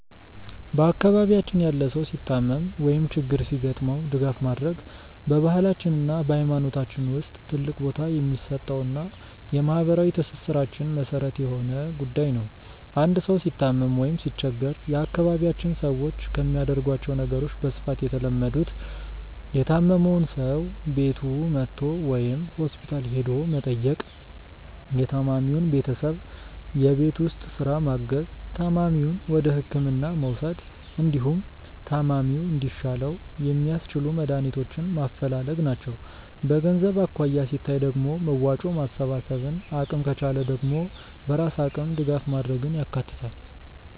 በአካባቢያችን ያለ ሰው ሲታመም ወይም ችግር ሲገጥመው ድጋፍ ማድረግ በባህላችን እና በሃይማኖታችን ውስጥ ትልቅ ቦታ የሚሰጠውና የማህበራዊ ትስስራችን መሰረት የሆነ ጉዳይ ነው። አንድ ሰው ሲታመም ወይም ሲቸገር የአካባቢያችን ሰዎች ከሚያደርጓቸው ነገሮች በስፋት የተለመዱት:- የታመመውን ሰው ቤቱ መጥቶ ወይም ሆስፒታል ሄዶ መጠየቅ፣ የታማሚውን ቤተሰብ የቤት ውስጥ ስራ ማገዝ፣ ታማሚውን ወደህክምና መውሰድ፣ እንዲሁም ታማሚው እንዲሻለው የሚያስችሉ መድሃኒቶችን ማፈላለግ ናቸው። በገንዘብ አኳያ ሲታይ ደግሞ መዋጮ ማሰባሰብን፣ አቅም ከቻለ ደግሞ በራስ አቅም ድጋፍ ማድረግን ያካትታል።